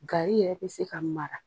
Gary yɛrɛ bɛ se ka mara.